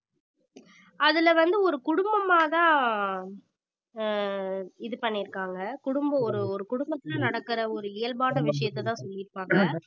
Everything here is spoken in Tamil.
அதுல வந்து ஒரு குடும்பமாதான் ஆஹ் இது பண்ணியிருக்காங்க குடும்பம் ஒரு ஒரு குடும்பத்தில நடக்கிற ஒரு இயல்பான விஷயத்தைதான் சொல்லியிருப்பாங்க